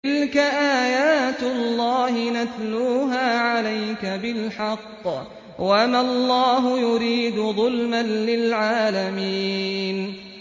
تِلْكَ آيَاتُ اللَّهِ نَتْلُوهَا عَلَيْكَ بِالْحَقِّ ۗ وَمَا اللَّهُ يُرِيدُ ظُلْمًا لِّلْعَالَمِينَ